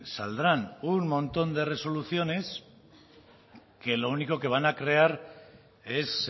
saldrán un montón de resoluciones que lo único que van a crear es